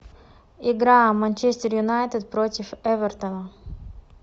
игра манчестер юнайтед против эвертона